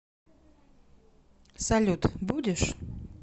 салют будешь